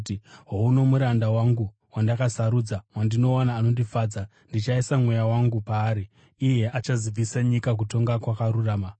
“Houno muranda wangu wandakasarudza, wandinoda, anondifadza; ndichaisa Mweya wangu paari, iye achazivisa nyika kutonga kwakarurama.